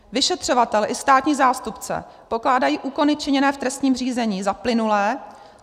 Vyšetřovatel i státní zástupce pokládají úkony činěné v trestním řízení za plynulé.